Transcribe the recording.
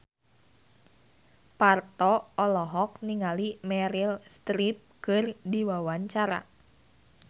Parto olohok ningali Meryl Streep keur diwawancara